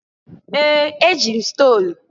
Ee! Eji m stolu.